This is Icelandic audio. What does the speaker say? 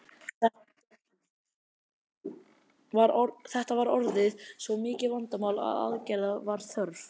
Þetta var orðið svo mikið vandamál að aðgerða var þörf.